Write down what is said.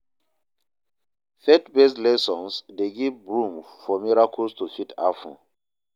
Faith based lessons de give room for miracles to fit happen